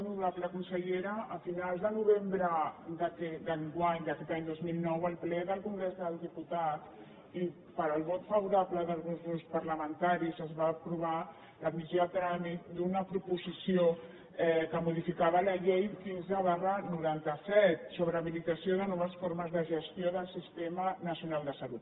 honorable consellera a finals de novembre d’enguany d’aquest any dos mil nou en el ple del congrés dels diputats i pel vot favorable d’alguns grups parlamentaris es va aprovar l’admissió a tràmit d’una proposició que modificava la llei quinze dinou noranta set sobre habilitació de noves formes de gestió del sistema nacional de salut